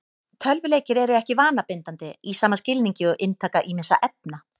Tölvuleikir eru ekki vanabindandi í sama skilningi og inntaka ýmissa efna.